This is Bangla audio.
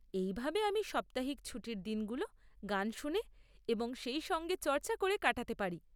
এইভাবে আমি সাপ্তাহিক ছুটির দিনগুলো গান শুনে এবং সেই সঙ্গে চর্চা করে কাটাতে পারি।